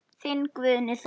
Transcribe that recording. Þinn Guðni Þór.